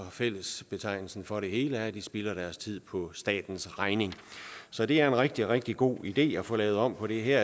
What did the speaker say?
og fællesbetegnelsen for det hele er at de spilder deres tid på statens regning så det er en rigtig rigtig god ide at få lavet om på det her